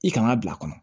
I kan ka bila a kɔnɔ